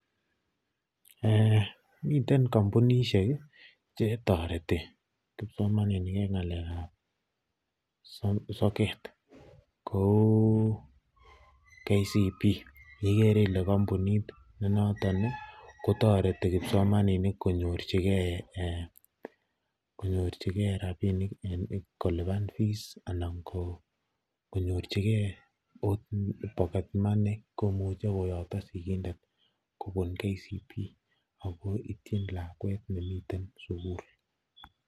Miten kombunishek chetoreti kipsomaninik en ng'alekab soket kouu KCB ikere ilee kombunit nenoton kotoreti kipsomaninik konyorchike rabinik en kolipan fees anan ko konyorchike pocket money komuche koyokto sikindet kobun KCB ak ko ityin lakwet nemiten sukul.